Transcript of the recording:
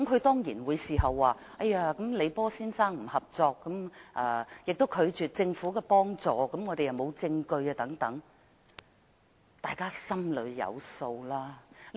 當然，他事後亦表示李波先生不合作，亦拒絕政府協助，而他們亦沒有證據等。